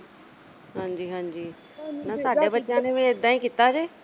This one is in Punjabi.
ਹਾਂਜੀ-ਹਾਂਜੀ, ਨਾ ਸਾਡੇ ਬੱਚਿਆਂ ਨੇ ਵੀ ਏਦਾਂ ਹੀ ਕੀਤਾ ਜੇ।